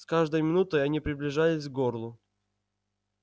с каждой минутой они приближались к горлу